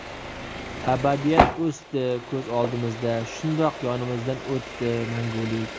Abadiyat o‘sdi ko‘z oldimizda, Shundoq yonimizdan o‘tdi Mangulik.